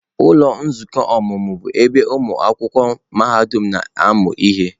Ụlọ nzukọ ọmụmụ bụ ebe ụmụ akwụkwọ mahadum na-amụ ihe.